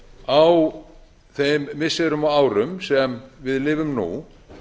á þeim missirum og árum sem við lifum nú